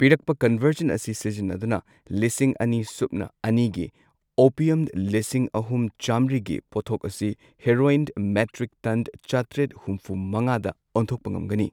ꯄꯤꯔꯛꯄ ꯀꯟꯚꯔꯖꯟ ꯑꯁꯤ ꯁꯤꯖꯤꯟꯅꯗꯨꯅ ꯂꯤꯁꯤꯡ ꯑꯅꯤ ꯁꯨꯞꯅ ꯑꯅꯤꯒꯤ ꯑꯣꯄꯤꯌꯝ ꯂꯤꯁꯤꯡ ꯑꯍꯨꯝ ꯆꯥꯝꯃ꯭ꯔꯤꯒꯤ ꯄꯣꯊꯣꯛ ꯑꯁꯤ ꯍꯦꯔꯣꯏꯟ ꯃꯦꯇ꯭ꯔꯤꯛꯇꯟ ꯆꯥꯇ꯭ꯔꯦꯠ ꯍꯨꯝꯐꯨ ꯃꯉꯥꯗ ꯑꯣꯟꯊꯣꯛꯄ ꯉꯝꯒꯅꯤ꯫